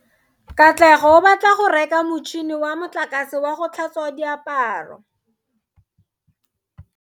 Katlego o batla go reka motšhine wa motlakase wa go tlhatswa diaparo.